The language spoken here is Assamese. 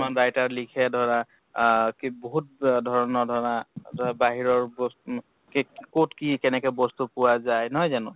মান writer লিখে ধৰা আহ কি বহুত ধৰণৰ ধৰা বাহিৰৰ বস্তু নু কেক কʼত কি কেনেকে বস্তু পোৱা যায় নহয় জানো?